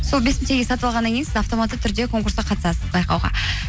сол бес мың теңгеге сатып алғаннан кейін сіз автоматты түрде сол конкурсқа қатысасыз байқауға